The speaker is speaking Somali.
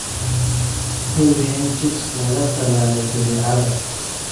Hubi in chicks laga tallaalay jadeecada.